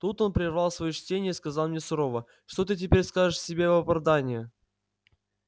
тут он прервал своё чтение и сказал мне сурово что ты теперь скажешь себе в оправдание